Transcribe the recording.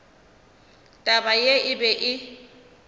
taba ye e be e